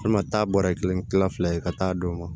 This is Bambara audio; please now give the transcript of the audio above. taa bɔrɛ kelen kilan fila ye ka taa d'u ma